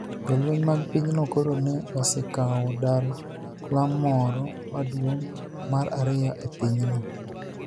Jolweniy mag piny no koro ni e osekawo dal moro maduonig ' mar ariyo e piny no.